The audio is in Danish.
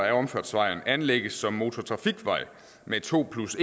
af omfartsvejen anlægges som motortrafikvej med to plus